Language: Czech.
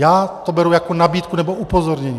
Já to beru jako nabídku nebo upozornění.